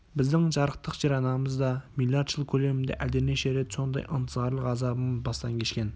біздің жарықтық жер-анамыз да миллиард жыл көлемінде әлденеше рет сондай ынтызарлық азабын бастан кешкен